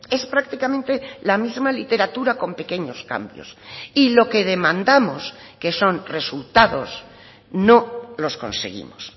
es prácticamente la misma literatura con pequeños cambios y lo que demandamos que son resultados no los conseguimos